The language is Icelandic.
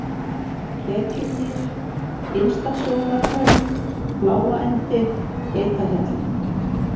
Ketjugil, Innstasjónarhraun, Fláaendi, Geitahjalli